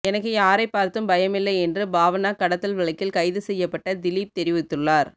எனக்கு யாரை பார்த்தும் பயமில்லை என்று பாவனா கடத்தல் வழக்கில் கைது செய்யப்பட்ட திலீப் தெரிவித்துள்ளார்